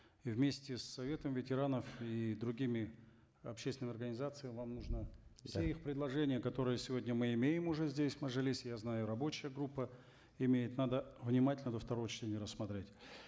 и вместе с советом ветеранов и другими общественными организациями вам нужно все их предложения которые сегодня мы имеем уже здесь в мажилисе я знаю рабочая группа имеет надо внимательно до второго чтения рассмотреть